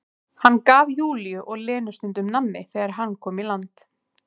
Hann gaf Júlíu og Lenu stundum nammi þegar hann kom í land.